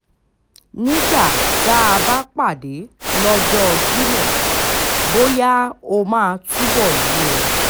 nígbà tá a bá pàdé lọ́jọ́ jimo bóyá ó máa túbọ̀ yé e